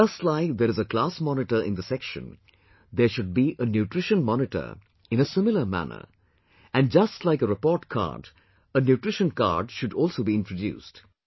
Just like there is a Class Monitor in the section, there should be a Nutrition Monitor in a similar manner and just like a report card, a Nutrition Card should also be introduced